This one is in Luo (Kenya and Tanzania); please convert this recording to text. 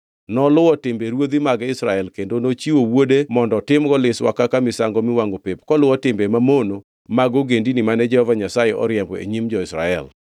Noluwo timbe ruodhi mag Israel kendo nochiwo wuode mondo otimgo liswa kaka misango miwangʼo pep koluwo timbe mamono mag ogendini mane Jehova Nyasaye oriembo e nyim jo-Israel.